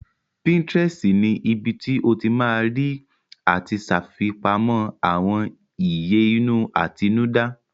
Pinterest ni ibi tí o ti ma rí àti ṣàfipamọ́ àwọn ìyè inú àtinúdá